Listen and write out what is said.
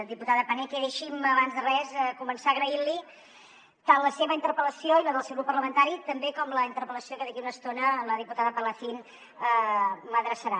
diputada paneque deixi’m abans de res començar agraint li tant la seva interpel·lació i la del seu grup parlamentari com també la interpel·lació que d’aquí a una estona la diputada palacín m’adreçarà